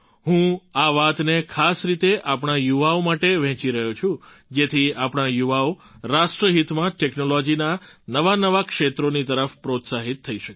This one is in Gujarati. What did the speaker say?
હું આ વાતોને ખાસ રીતે આપણા યુવાઓ માટે વહેંચી રહ્યો છું જેથી આપણા યુવાઓ રાષ્ટ્રહિતમાં ટૅક્નૉલૉજીનાં નવાંનવાં ક્ષેત્રોની તરફ પ્રોત્સાહિત થઈ શકે